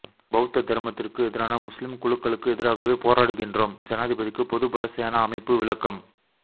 பௌத்த தர்மத்திற்கு எதிரான முஸ்லீம் குழுக்களுக்கு எதிராகவே போராடுகின்றோம் ஜனாதிபதிக்கு பொதுபல சேனா அமைப்பு விளக்கம்